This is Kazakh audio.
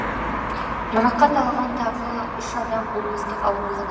жарақат алған тағы үш адам облыстық ауруханада